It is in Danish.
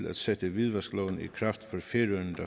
at sætte hvidvaskloven i kraft